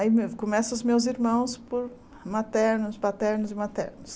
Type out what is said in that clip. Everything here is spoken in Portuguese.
Aí começam os meus irmãos por maternos, paternos e maternos.